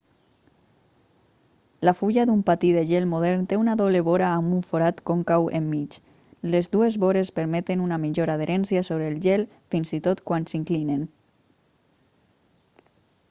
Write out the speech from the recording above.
la fulla d'un patí de gel modern té una doble vora amb un forat còncau enmig les dues vores permeten una millor adherència sobre el gel fins i tot quan s'inclinen